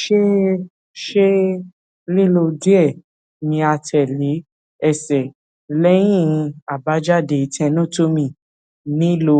ṣe ṣe lilọ diẹ niatele ẹsẹ lẹhin agbejade tenotomy nilo